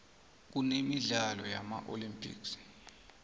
kunemidlalo yama olympics